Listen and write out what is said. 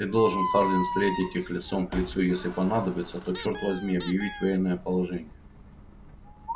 ты должен хардин встретить их лицом к лицу если понадобится то чёрт возьми объявить военное положение